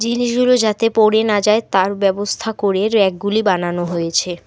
জিনিসগুলো যাতে পড়ে না যায় তার ব্যবস্থা করে ব়্যাকগুলি বানানো হয়েছে।